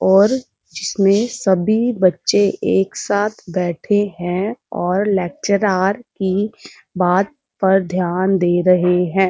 और जिसमे सभी बच्चे एक साथ बैठे हैं और लेक्चरार की बात पर ध्यान दे रहे हैं।